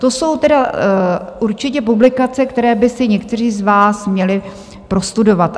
To jsou tedy určitě publikace, které by si někteří z vás měli prostudovat.